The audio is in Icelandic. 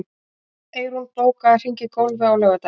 Eyrún, bókaðu hring í golf á laugardaginn.